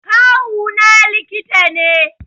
Kawuna likita ne